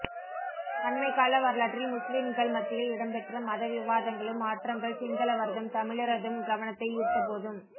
அண்மைக்கால வரலாற்றில் முஸ்லிம்கள் மத்தியில் இடம்பெற்ற மதவிவாதங்களும் மாற்றங்கள் சிங்களவரதும் தமிழரதும் கவனத்தை ஈர்த்தபோதும்